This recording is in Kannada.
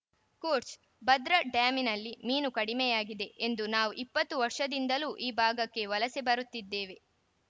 ಕೋಟ್ಸ್‌ ಭದ್ರಾ ಡ್ಯಾಂನಲ್ಲಿ ಮೀನು ಕಡಿಮೆಯಾಗಿದೆ ಎಂದು ನಾವು ಇಪ್ಪತ್ತು ವರ್ಷದಿಂದಲೂ ಈ ಭಾಗಕ್ಕೆ ವಲಸೆ ಬರುತ್ತಿದ್ದೇವೆ